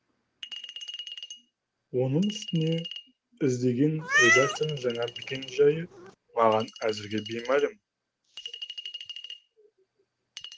оның үстіне іздеген редакцияның жаңа мекен жайы маған әзірге беймәлім